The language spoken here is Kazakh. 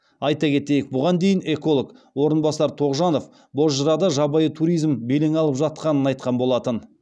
айта кетейік бұған дейін эколог орынбасар тоғжанов бозжырада жабайы туризм белең алып жатқанын айтқан болатын